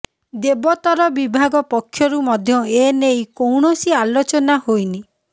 ଦେବୋତ୍ତର ବିଭାଗ ପକ୍ଷରୁ ମଧ୍ୟ ଏ ନେଇ କୌଣସି ଆଲୋଚନା ହୋଇନି